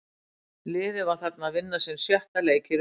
Liðið var þarna að vinna sinn sjötta leik í röð.